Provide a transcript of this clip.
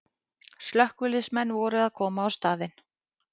Slökkviliðsmenn voru að koma á staðinn